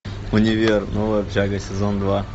универ новая общага сезон два